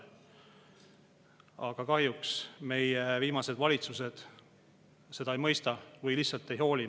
Aga kahjuks meie viimased valitsused ei ole seda ei mõistnud või lihtsalt ei hooli.